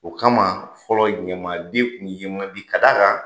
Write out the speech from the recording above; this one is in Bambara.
O kama fɔlɔ ɲamaadenw tun ye man di ka d'a kan